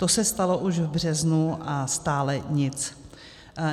To se stalo už v březnu, a stále nic.